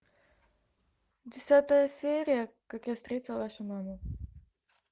десятая серия как я встретил вашу маму